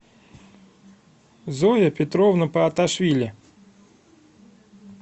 зоя петровна пааташвили